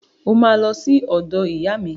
O máa lọ sí ọ̀dọ̀ ìyá mi